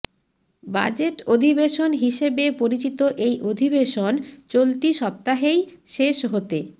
budget অধিবেশন হিসেবে পরিচিত এই অধিবেশন চলতি সপ্তাহেই শেষ হতে